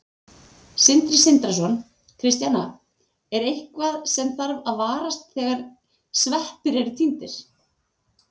Sindri Sindrason: Kristjana, er eitthvað sem þarf að varast þegar sveppir eru tíndir?